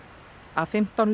af fimmtán